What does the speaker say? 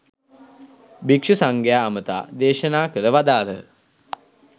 භික්ෂු සංඝයා අමතා දේශනා කර වදාළහ.